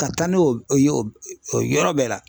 Ka taa n'o o ye o yɔrɔ bɛɛ la .